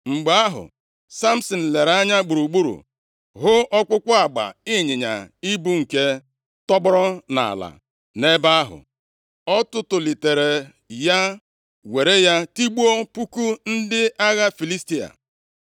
Mgbe ahụ Samsin lere anya gburugburu, hụ ọkpụkpụ agba ịnyịnya ibu nke tọgbọrọ nʼala nʼebe ahụ. Ọ tụtụlitere ya, were ya tigbuo puku ndị agha Filistia.